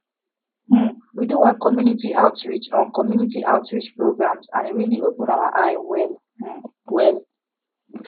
um we do one community outreach on community outreach programs and e really open our eye well um well